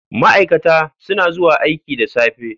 Ma'aikata suna zuwa aiki da safe.